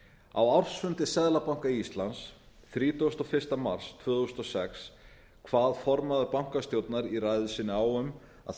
á ársfundi seðlabanka íslands þrítugasta og fyrsta mars tvö þúsund og sex kvað formaður bankastjórnar í ræðu sinni á um að